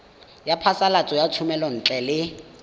ya phasalatso ya thomelontle le